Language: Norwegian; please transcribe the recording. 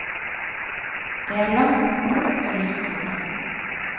Det er langt mot nord og lyst ute.